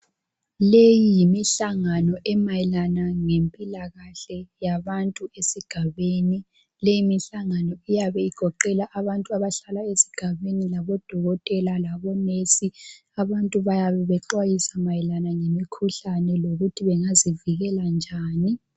Leyi yimihlangano emayelana ngempilakahle yabantu esigabeni. Leyimihlangano iyabe igoqela abantu abahlala esigabeni labodokotela labonesi. Abantu bayabe bexwayisa mayelana ngemikhuhlane ukuthi bengazivikela njani.